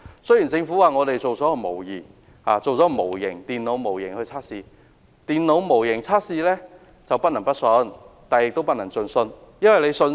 雖然政府表示，已製作了電腦模型進行測試，但電腦模型測試不能不信，亦不能盡信。